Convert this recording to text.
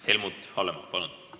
Helmut Hallemaa, palun!